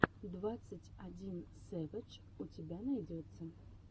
двадцать один сэвэдж у тебя найдется